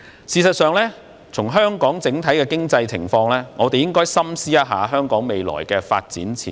事實上，因應香港的整體經濟情況，我們應該深思一下香港未來的發展前景。